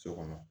So kɔnɔ